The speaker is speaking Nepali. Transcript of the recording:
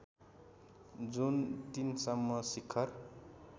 जुन ३ सम्म शिखर